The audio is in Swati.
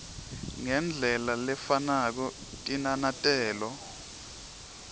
ngendlela lefanako tinanatelo